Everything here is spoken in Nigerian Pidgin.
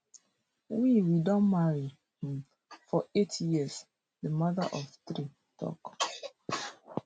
we we don marry um for eight years di mother of three tok